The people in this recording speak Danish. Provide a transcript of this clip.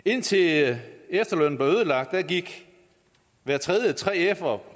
indtil efterlønnen blev ødelagt gik hver tredje 3fer